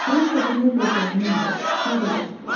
Fransada nə bir qohumum var, nə də dostum.